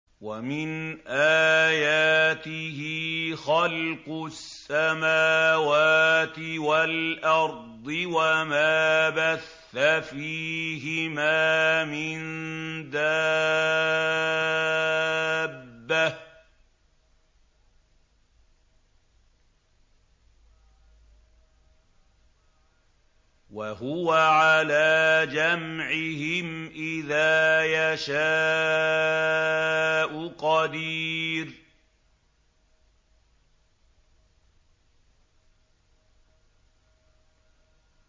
وَمِنْ آيَاتِهِ خَلْقُ السَّمَاوَاتِ وَالْأَرْضِ وَمَا بَثَّ فِيهِمَا مِن دَابَّةٍ ۚ وَهُوَ عَلَىٰ جَمْعِهِمْ إِذَا يَشَاءُ قَدِيرٌ